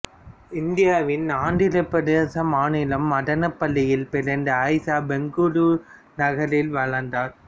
இந்தியாவின் ஆந்திரப் பிரதேச மாநிலம் மதனப்பள்ளியில் பிறந்த ஆயிசா பெங்களூரு நகரில் வளர்ந்தார்